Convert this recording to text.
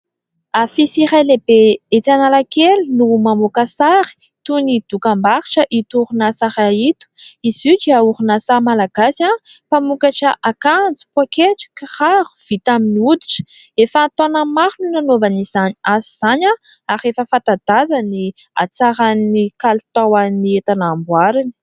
afisy iray lehibe etsanalakely no mamoaka sary toy ny dokam-baritra itoorina saraahito izoga orynasaha malagazy ahy mpamokatra akanjy poaketra kharo vita amin'ny oditra efa hataonany maro no nanaovan'izany azy izany aho ary efa fatadaza ny hatsaran'ny kalitao an'ny etanambohariny